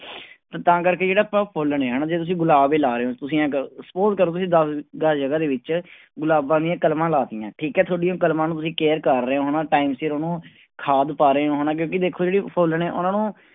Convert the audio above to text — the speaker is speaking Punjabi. ਤੇ ਤਾਂ ਕਰਕੇ ਜਿਹੜਾ ਆਪਾਂ ਫੁੱਲ ਨੇ ਹਨਾ ਜੇ ਤੁਸੀਂ ਗੁਲਾਬ ਹੀ ਲਾ ਰਹੇ ਹੋ ਤੁਸੀਂ ਇਉਂ ਕਰੋ suppose ਕਰੋ ਤੁਸੀਂ ਦਸ ਗਜ਼ ਜਗ੍ਹਾ ਦੇ ਵਿੱਚ ਗੁਲਾਬਾਂ ਦੀਆਂ ਕਲਮਾਂ ਲਾ ਦਿੱਤੀਆਂ ਠੀਕ ਹੈ ਤੁਹਾਡੀ ਉਹ ਕਲਮਾਂ ਨੂੰ ਤੁਸੀਂ care ਕਰ ਰਹੇ ਹੋ ਹਨਾ time ਸਿਰ ਉਹਨੂੰ ਖਾਦ ਪਾ ਰਹੇ ਹੋ ਹਨਾ ਕਿਉਂਕਿ ਦੇਖੋ ਜਿਹੜੀ ਫੁੱਲ ਨੇ ਉਹਨਾਂ ਨੂੰ